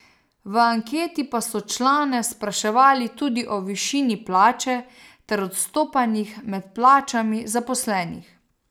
V anketi pa so člane spraševali tudi o višini plače ter odstopanjih med plačami zaposlenih.